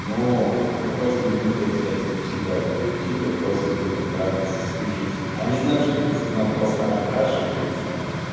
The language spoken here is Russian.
ну покупатели винила кстати не всегда аудиофилы просто людям нравятся слушать они знают что этот сигнал просто окрашивается